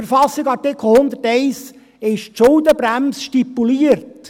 In Artikel 101 KV ist die Schuldenbremse stipuliert.